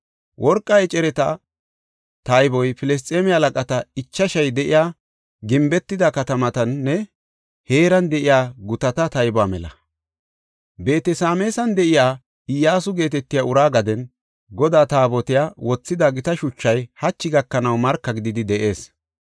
Worqa ecereta tayboy Filisxeeme halaqata ichashay de7iya gimbetida katamatanne heeran de7iya gutata taybuwa mela. Beet-Sameesan de7iya Iyyasu geetetiya uraa gaden Godaa Taabotiya wothida gita shuchay hachi gakanaw marka gididi de7ees.